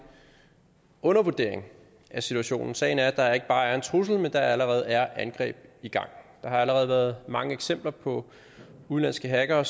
undervurdering af situationen sagen er at der ikke bare er en trussel men at der allerede er angreb i gang der har allerede været mange eksempler på at udenlandske hackere